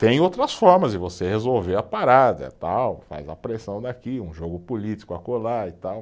Tem outras formas de você resolver a parada tal, faz a pressão daqui, um jogo político acolá e tal.